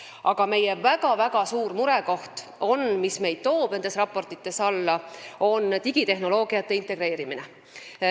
Aga meie väga-väga suur murekoht, mis meid nendes raportites allapoole toob, on digitehnoloogiate integreerimine.